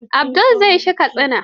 Abdul za shi Katsina.